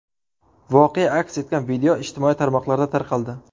Voqea aks etgan video ijtimoiy tarmoqlarda tarqaldi.